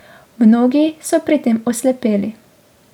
Mnogi so pri tem oslepeli.